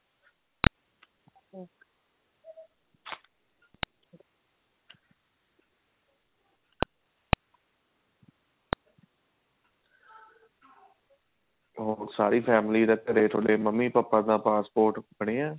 ਹੋਰ ਸਾਰੀ family ਦਾ ਥੋੜੇ ਮੰਮੀ ਪਾਪਾ ਦਾ passport ਬਣਿਆ ਹੈ